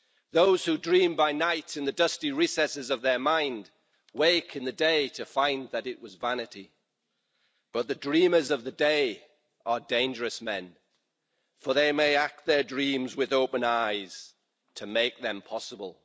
Those who dream by night in the dusty recesses of their minds wake in the day to find it was vanity, but the dreamers of the day are dangerous men, for they may act their dreams with open eyes, to make it possible.'